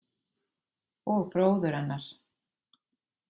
Og bróður hennar.